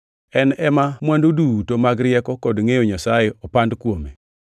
En ema mwandu duto mag rieko kod ngʼeyo Nyasaye opando kuome.